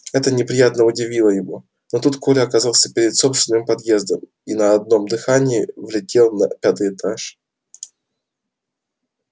это неприятно удивило его но тут коля оказался перед собственным подъездом и на одном дыхании влетел на пятый этаж